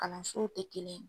Kalansow tɛ kelen ye.